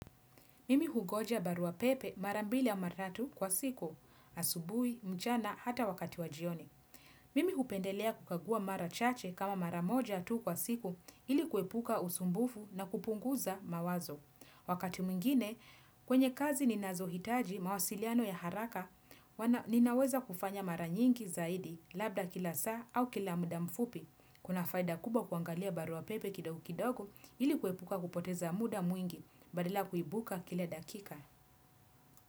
Mimi hungoja barua pepe mara mbili ama tatu kwa siku, asubui, mchana, hata wakati wajioni. Mimi hupendelea kukagua mara chache kama mara moja tu kwa siku ili kuhepuka usumbufu na kupunguza mawazo. Wakati mwingine, kwenye kazi ninazohitaji mawasiliano ya haraka, ninaweza kufanya mara nyingi zaidi, labda kila saa au kila muda mfupi. Kuna faida kubwa kuangalia barua pepe kidogu kidogo ili kuhepuka kupoteza muda mwingi badila ya kuibuka kila dakika.